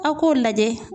Aw k'o lajɛ